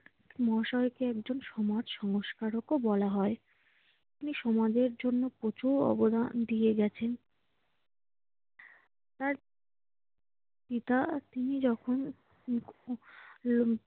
মহাশয়কে একজন সমাজ সংস্কারকও বলা হয়। তিনি সমাজের জন্য প্রচুর অবদান দিয়ে গেছেন তাঁর পিতা তিনি যখন উম উম